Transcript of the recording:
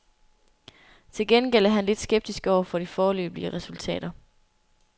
Til gengæld er han lidt skeptisk over for de foreløbige resultater.